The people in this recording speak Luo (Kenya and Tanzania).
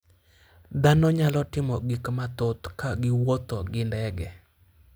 Dhano nyalo timo gik mathoth ka giwuotho gi ndege.